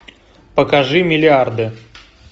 покажи миллиарды